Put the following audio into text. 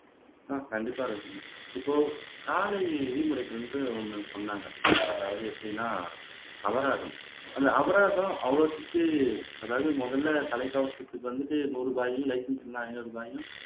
ஆஹ் கண்டிப்பா ரோஹினி இப்போ சாலை விதிமுறைகள்னு ஒணணு சொன்னாங்க அதாவது எப்படின்னா அபராதம் அந்த அபராதம் அவ்வளவுத்துக்கு அதாவது முதல்ல தலைக்கவசத்துக்கு வந்துட்டு நூறு ரூபாயும் லைசன்ஸ் இல்லன்னா ஐநூறு ரூபாயும்